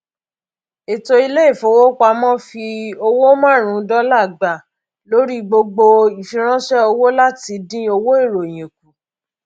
ètò iléifowopamọ fi owó márùnún dọlà gba lórí gbogbo ìfiránṣẹ owó láti dín owó ìròyìn kù